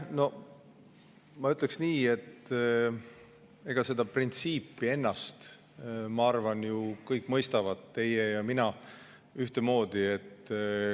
No ma ütleks nii, et seda printsiipi ennast mõistavad ju kõik, ka teie ja mina, ühtemoodi.